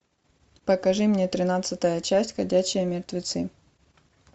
покажи мне тринадцатая часть ходячие мертвецы